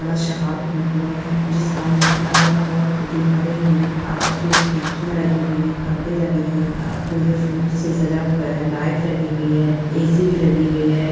बड़ा सा हॉल बना हुआ है जिस हॉल में अगल-बगल दीवारे है और एक खिड़कियाँ लगी हुई है परदे लगे है अ पुरे फूल से सजा हुआ है लाइट लगी हुई है ए.सी. भी लगी हुई है।